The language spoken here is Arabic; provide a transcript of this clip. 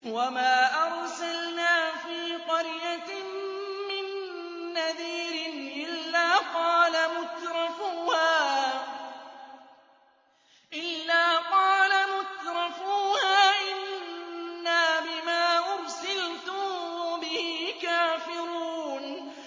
وَمَا أَرْسَلْنَا فِي قَرْيَةٍ مِّن نَّذِيرٍ إِلَّا قَالَ مُتْرَفُوهَا إِنَّا بِمَا أُرْسِلْتُم بِهِ كَافِرُونَ